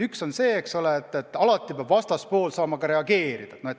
Üks on see, et alati peab ka vastaspool saama reageerida.